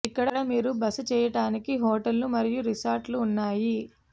ఇక్కడ మీరు బస చేయటానికి హోటళ్లు మరియు రిసార్ట్ లు ఉన్నాయి